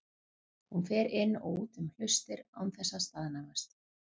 Hún fer inn og út um hlustir án þess að staðnæmast.